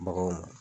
Baganw